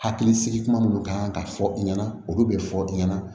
Hakili sigi kuma minnu kan ka fɔ i ɲɛna olu bɛ fɔ i ɲɛna